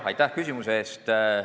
Aitäh küsimuse eest!